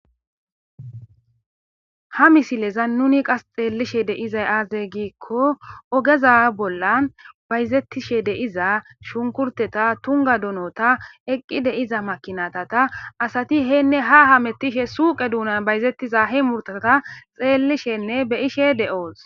Ha misleza nuuni qas xeellisheedda be7iza aabee giikko oge za7a bollan bayzeththishsheze7ida shunkurtteta,tungga donota,eqqi de7iza makiinatha,asathi heenne haa hameththishe suuqe doona bayzeththiza muruthatha xeellisheenne be7ishee de7oos.